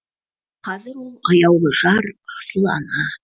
қазір ол аяулы жар асыл ана